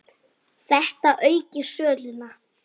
Þetta auki söluna.